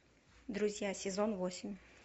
друзья сезон восемь